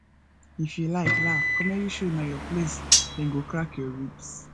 if you like laugh comedy show na your place dem go crack your ribs